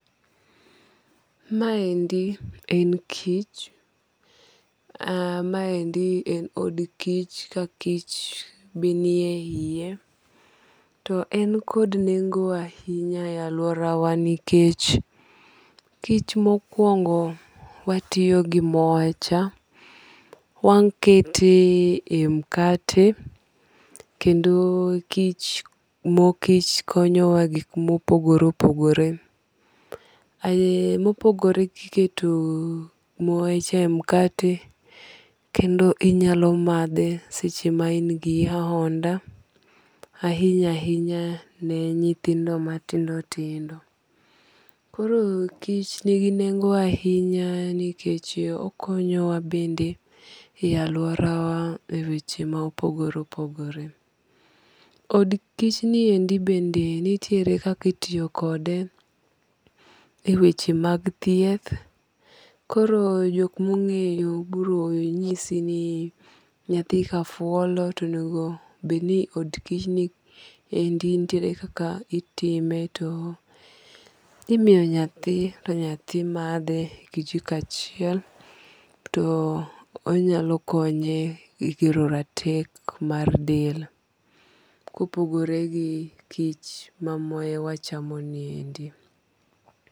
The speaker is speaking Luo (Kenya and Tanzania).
Ma endi en kich. Maendi en od kich ka kich be ni e iye. To en kod nengo ahinya e aluora wa nikech kich mokwongo watiyo gi moe cha. Wakete e mukate. Kendo mo kich konyo wa e gik mopogore opogore. Mopogore kiketo moe cha e mukate, kendo inyalo madhe seche ma in gi ahonda. Ahinya ahinya ne nyithindo matindo tindo. Koro kich nigi nengo ahinya nikech okonyowa bende e aluora wa e weche ma opogore opogopore. Od kich ni endi be nitiere kaka itiyokode e weche mag thieth. Koro jok mong'eyo biro nyisi ni nyathi ka fuolo to onego bed ni od kich ni endi nitiere kaka itime to imiyo nyathi to yathi madhe kijiko achiel to onyalo konye e kelo teko mar del. Kopogore gi kich mamoye wachomo ni endi.